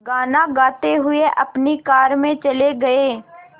गाना गाते हुए अपनी कार में चले गए